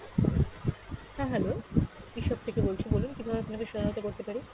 হ্যাঁ hello, থেকে বলছি বলুন কীভাবে আপনাকে সহায়তা করতে পারি?